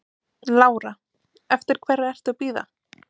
Lára: Eftir hverri ertu að bíða?